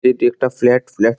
এটি একটা flat flat.